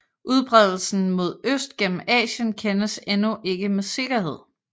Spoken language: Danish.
Udbredelsen mod øst gennem Asien kendes endnu ikke med sikkerhed